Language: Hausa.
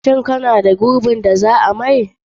Shin kana da gurbin da za a maye?